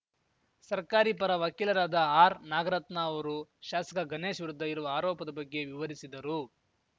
ಸರ್ಕಾರಿ ಪರ ವಕೀಲರಾದ ಆರ್‌ನಾಗರತ್ನ ಅವರು ಶಾಸಕ ಗನೇಶ್‌ ವಿರುದ್ಧ ಇರುವ ಆರೋಪದ ಬಗ್ಗೆ ವಿವರಿಸಿದರು